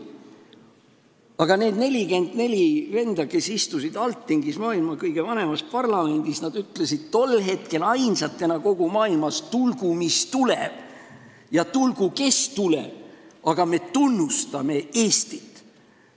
Aga need 44 venda, kes istusid Althingis, maailma kõige vanemas parlamendis, ütlesid tol hetkel ainsatena kogu maailmas: "Tulgu mis tuleb ja tulgu kes tuleb, aga me tunnustame Eestit!